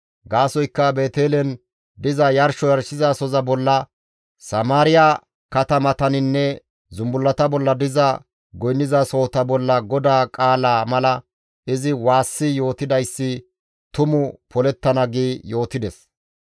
Gaasoykka Beetelen diza yarsho yarshizasoza bolla, Samaariya katamataninne zumbullata bolla diza goynnizasohota bolla GODAA qaalaa mala izi waassi yootidayssi tumu polettana» gi yootides.